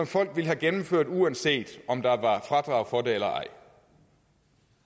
folk ville have gennemført uanset om der var fradrag for det eller ej